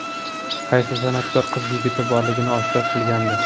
Qaysi san’atkor qiz yigiti borligini oshkor qilgandi?